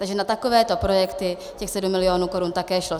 Takže na takovéto projekty těch sedm milionů korun také šlo.